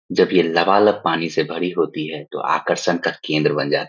जब ये लबालब पानी से भरी होती है तो आकर्षण का केंद्र बन जाती --